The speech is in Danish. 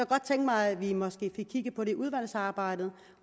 godt tænke mig at vi måske fik kigget på det i udvalgsarbejdet